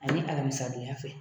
A ni alamisadonya fɛ